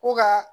Ko ka